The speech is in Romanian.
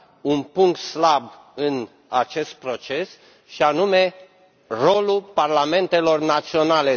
un punct slab în acest proces, și anume rolul parlamentelor naționale.